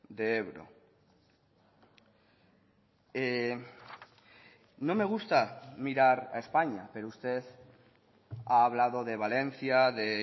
de ebro no me gusta mirar a españa pero usted ha hablado de valencia de